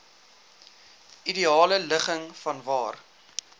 ideale ligging vanwaar